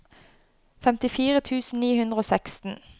femtifire tusen ni hundre og seksten